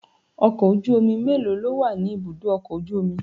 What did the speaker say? Ọkọ̀ ojú omi mélòó lówà ni ibùdó ọkọ̀ ojú omi?